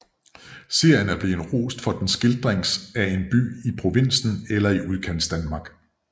Serien er blevet rost for den skildrings af en by i provinsen eller i Udkantsdanmark